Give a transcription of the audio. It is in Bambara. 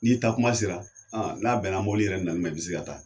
N'i taa kuma sera, n'a bɛnna mɔbili yɛrɛ nani ma i bi se ka taa